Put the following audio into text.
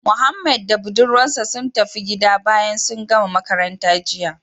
Mohammed da budurwar sa sun tafi gida bayan sun gama makaranta jiya